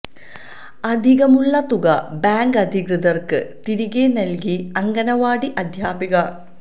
അധികമുള്ള തുക ബാങ്ക് അധികൃതര്ക്ക് തിരികെ നല്കി അങ്കണവാടി അധ്യാപിക